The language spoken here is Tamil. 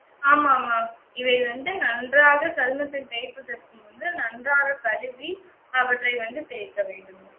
ஆமா ஆமா. இவை வந்து நன்றாக சருமத்தில் தேய்ப்பதற்கு முன்பு நன்றாக கழுவி, அவற்றை வந்து தேய்க்க வேண்டும்.